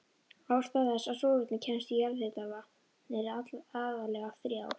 Ástæður þess að súrefni kemst í jarðhitavatn eru aðallega þrjár.